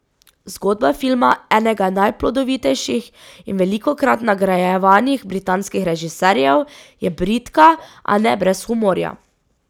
Zgodba filma enega najplodovitejših in velikokrat nagrajevanih britanskih režiserjev je bridka, a ne brez humorja.